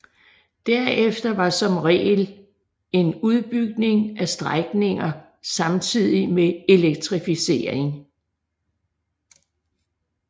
Derefter var som regel en udbygning af strækninger samtidig med elektrificering